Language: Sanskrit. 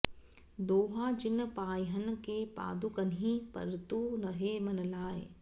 दोहा जिन्ह पायन्ह के पादुकन्हि भरतु रहे मन लाइ